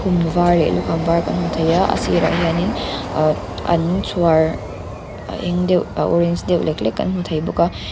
var leh lukham var kan hmu thei a a sir ah hian in ah an chhuar a eng deuh a orange deuh lek lek kan hmu thei a.